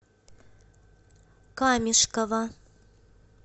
камешково